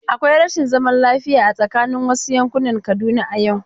Akwai rashin zaman lafiya a tsaakanin wasu yankunan Kaduna a yau.